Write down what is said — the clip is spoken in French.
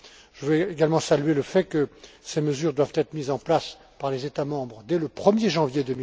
Je veux également saluer le fait que ces mesures doivent être mises en place par les États membres dès le 1er janvier